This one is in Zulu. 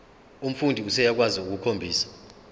umfundi useyakwazi ukukhombisa